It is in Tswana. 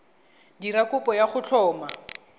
dira kopo ya go tlhoma